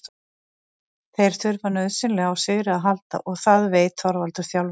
Þeir þurfa nauðsynlega á sigri að halda og það veit Þorvaldur þjálfari.